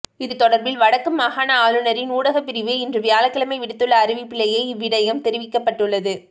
இது தொடர்பில் வடக்கு மாகாண ஆளுநரின் ஊடகப்பிரிவு இன்று வியாழக்கிழமை விடுத்துள்ள அறிவிப்பிலேயே இவ்விடயம் தெரிவிக்கப்பட்டுள்ளது